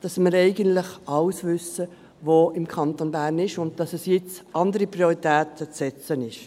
dass wir eigentlich alles wissen, was es im Kanton Bern gibt, und jetzt andere Prioritäten zu setzen sind.